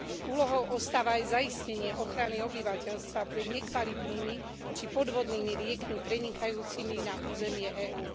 Úlohou ostáva aj zaistenie ochrany obyvateľstva pred nekvalitnými či podvodnými liekmi prenikajúcimi na územie EÚ.